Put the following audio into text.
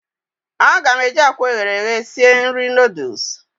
A ga m eji akwa eghere eghe sie nri noodles ahụ